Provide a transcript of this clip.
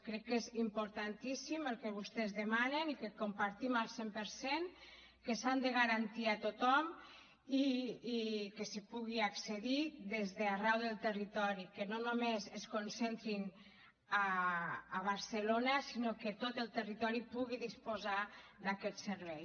crec que és importantíssim el que vostès demanen i que compartim al cent per cent que s’han de garantir a tothom i que s’hi pugui accedir des d’arreu del territori que no només es concentrin a barcelona sinó que tot el territori pugui disposar d’aquest servei